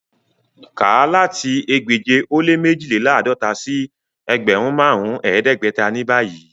Ká láti ẹgbẹ́je o le mẹjìlélàádọ̀tà sí ẹgbẹ́run màrùn ẹdẹgbẹ̀tà ni báyì!